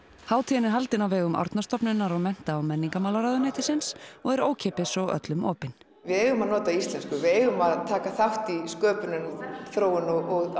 hátíðin er haldin á vegum Árnastofnunar og mennta og menningarmálaráðuneytisins og er ókeypis og öllum opin við eigum að nota íslensku við eigum að taka þátt í sköpun hennar og þróun og